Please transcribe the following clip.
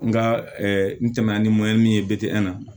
N ka n tɛmɛna ni ye na